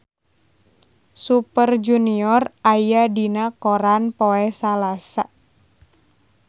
Super Junior aya dina koran poe Salasa